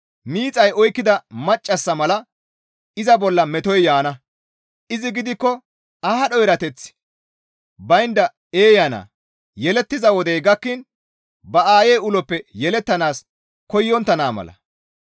Miixay oykkida maccassa mala iza bolla metoy yaana; izi gidikko aadho erateththi baynda eeya naa; yelettiza wodey gakkiin ba aayey uloppe yelettanaas koyontta naa mala.